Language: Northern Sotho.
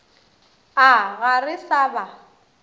a ga re sa ba